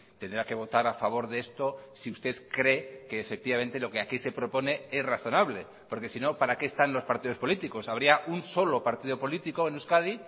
tendrá que votar a favor de esto si usted cree que efectivamente lo que aquí se propone es razonable porque si no para qué están los partidos políticos habría un solo partido político en euskadi